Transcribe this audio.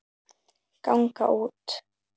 ganga út